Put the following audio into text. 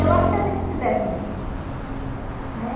Eu acho que a gente se deve isso, né?